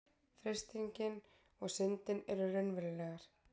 Freistingin og syndin eru raunverulegar.